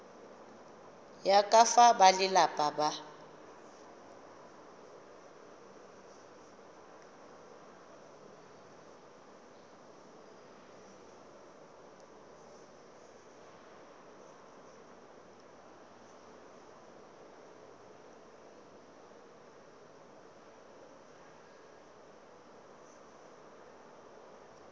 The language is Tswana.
ya ka fa balelapa ba